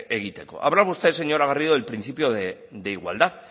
egiteko habla usted señora garrido del principio de igualdad